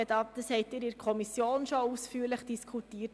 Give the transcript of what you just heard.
Diese haben Sie in der Kommission bereits ausführlich diskutiert.